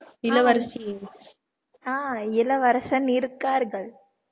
இளவரசியே ஆஹ் இளவரசன் இருக்கார்கள்